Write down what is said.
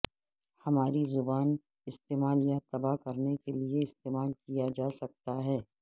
ہماری زبان استعمال یا تباہ کرنے کے لئے استعمال کیا جا سکتا ہے